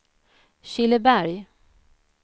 Killeberg